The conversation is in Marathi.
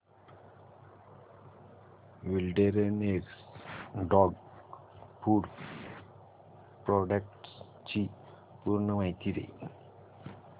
विलडेरनेस डॉग फूड प्रोडक्टस ची पूर्ण माहिती दे